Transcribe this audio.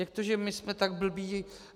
Jak to, že my jsme tak blbí?